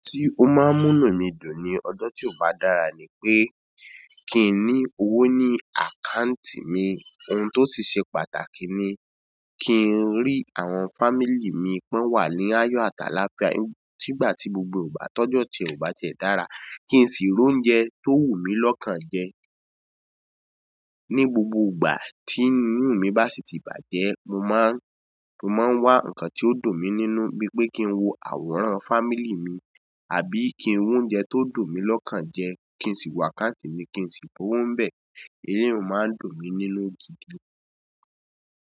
Ọ̀hun tí ó máa ń múnu mi dùn ní ọjọ́ tí kò bá dára ni pé kí n ní owó ní àkáǹtì mi. Ohun tó sì ṣe pàtàkì ni kí n rí àwọn family mi pe won wà ní ayọ̀ àtàlafíà. Nígbà tí gbogbo ìgbà tójọ́ ti e o bá ti e dára, kí n sì rò óúnjẹ tó wù mí lọ́kàn jẹ. Ní gbogbo ìgbà tí inú mi bá sì ti bàjẹ́, mo máa ń, mo máa ń wá nǹkan tí ó dùn mí nínú bí pé kí n wo àwòrán fámílì mi àbí kí n wa óúnjẹ tó dùn mí lọ́kàn jẹ kí n sì wá àkáǹtì mi kí n sì rowo bẹ. Èyí ló máa ń dùn mí nínú.